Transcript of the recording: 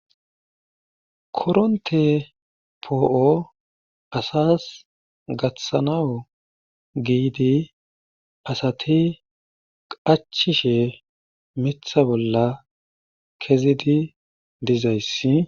Korontte poo'o asas gatanaw giidi asati qachchishe miththa bolla kezidi dizaysssi